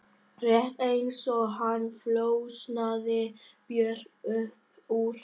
Rétt eins og hann flosnaði Björg upp úr námi.